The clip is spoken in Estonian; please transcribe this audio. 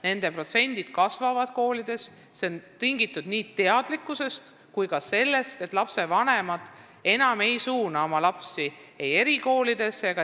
Nende protsent koolides kasvab ja see on tingitud nii suuremast teadlikkusest kui ka sellest, et lapsevanemad ei pane enam oma lapsi erikooli.